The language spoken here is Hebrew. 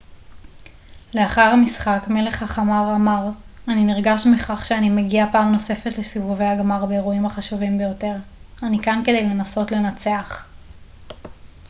לאחר המשחק מלך החמר אמר אני נרגש מכך שאני מגיע פעם נוספת לסיבובי הגמר באירועים החשובים ביותר אני כאן כדי לנסות לנצח